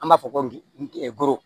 An b'a fɔ ko